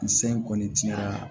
Ni se in kɔni tiɲɛna